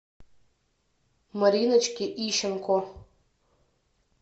мариночке ищенко